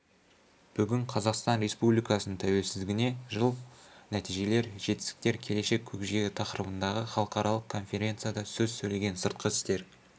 бүгін қазақстан республикасының тәуелсіздігіне жыл нәтижелер жетістіктер келешек көкжиегі тақырыбындағы іалықаралық конференцияда сөз сөйлеген сыртқы істер